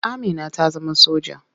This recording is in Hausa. Amina ta zama soja.